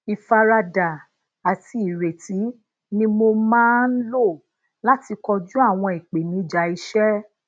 ifarada àti ìrètí ni mo maa n lo láti kojú àwọn ìpèníjà iṣẹ